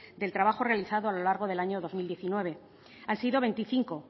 del trabajo realizado a lo largo del año dos mil diecinueve han sido veinticinco